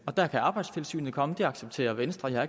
der kan arbejdstilsynet komme det accepterer venstre jeg